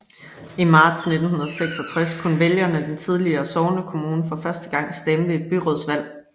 I marts 1966 kunne vælgerne den tidligere sognekommune for første gang stemme ved et byrådsvalg